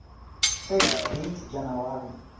fact date january